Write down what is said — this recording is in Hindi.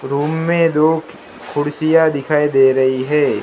रूम मैं दो कुर्सियां दिखाई दे रही हैं।